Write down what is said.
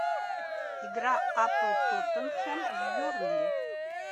игра апл тоттенхэм с бернли